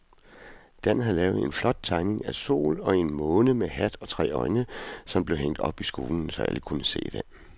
Dan havde lavet en flot tegning af en sol og en måne med hat og tre øjne, som blev hængt op i skolen, så alle kunne se den.